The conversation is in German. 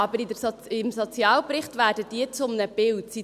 Aber im Sozialbericht werden diese zu einem Bild.